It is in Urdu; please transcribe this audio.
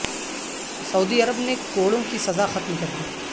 سعودی عرب نے کوڑوں کی سزا ختم کر دی